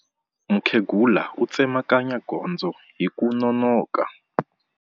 Mukhegula u tsemakanya gondzo hi ku nonoka.